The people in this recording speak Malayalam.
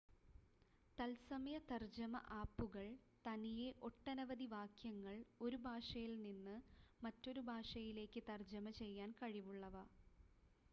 തത്സമയ തർജ്ജമ ആപ്പുകൾ തനിയെ ഒട്ടനവധി വാക്യങ്ങൾ ഒരു ഭാഷയിൽ നിന്ന് മറ്റൊരു ഭാഷയിലേക്ക് തർജ്ജമ ചെയ്യാൻ കഴിവുള്ളവ